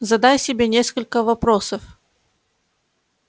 задай себе несколько вопросов